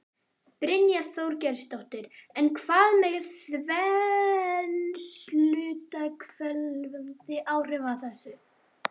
Brynja Þorgeirsdóttir: En hvað með þensluhvetjandi áhrifin af þessu?